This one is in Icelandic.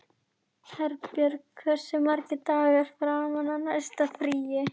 Herbjörg, hversu margir dagar fram að næsta fríi?